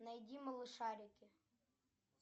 найди малышарики